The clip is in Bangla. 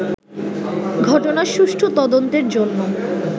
ঘটনার সুষ্ঠু তদন্তের জন্য